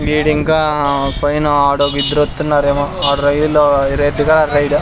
వీడు ఇంకా పైన ఆడ ఒక ఇద్దరు వతున్నారేమో ఆడు రైల్లో రెడ్ గా రైడ్ --